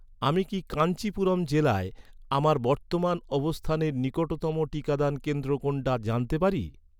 আমি কি কাঞ্চিপুরম জেলায়, আমার বর্তমান অবস্থানের নিকটতম টিকাদান কেন্দ্র কোনটা জানতে পারি?